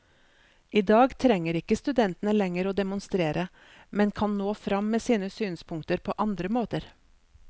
I dag trenger ikke studentene lenger å demonstrere, men kan nå frem med sine synspunkter på andre måter.